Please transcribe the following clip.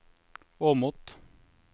Åmot